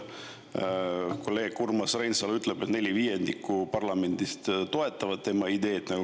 Kolleeg Urmas Reinsalu ütleb, et neli viiendikku parlamendist toetab tema ideed.